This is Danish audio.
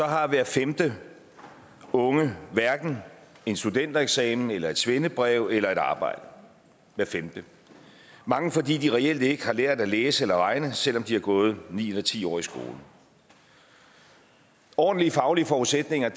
har hver femte ung hverken en studentereksamen eller et svendebrev eller et arbejde hver femte mange fordi de reelt ikke har lært at læse eller regne selv om de har gået ni eller ti år i skole ordentlige faglige forudsætninger